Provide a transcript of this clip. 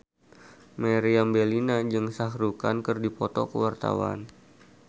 Meriam Bellina jeung Shah Rukh Khan keur dipoto ku wartawan